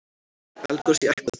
Eldgos í Ekvador